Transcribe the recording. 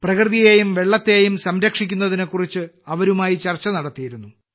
പ്രകൃതിയെയും വെള്ളത്തെയും സംരക്ഷിക്കുന്നതിനെക്കുറിച്ച് അവരുമായി ചർച്ച നടത്തിയിരുന്നു